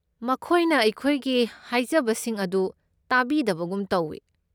ꯃꯈꯣꯏꯅ ꯑꯩꯈꯣꯏꯒꯤ ꯍꯥꯏꯖꯕꯁꯤꯡ ꯑꯗꯨ ꯇꯥꯕꯤꯗꯕꯒꯨꯝ ꯇꯧꯢ꯫